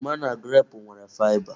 Oroma na grape nwere faịba.